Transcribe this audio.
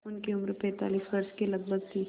उनकी उम्र पैंतालीस वर्ष के लगभग थी